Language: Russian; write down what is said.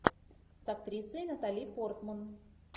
с актрисой натали портман